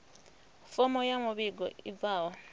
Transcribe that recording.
fomo ya muvhigo i bvaho